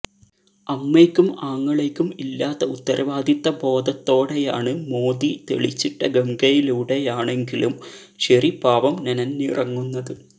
അമ്മയ്ക്കും ആങ്ങളയ്ക്കും ഇല്ലാത്ത ഉത്തരവാദിത്തബോധത്തോടെയാണ് മോദി തെളിച്ചിട്ട ഗംഗയിലൂടെയാണെങ്കിലും ശരി പാവം നനഞ്ഞിറങ്ങുന്നത്